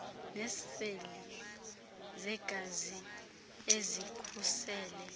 neeseli zegazi ezikhusele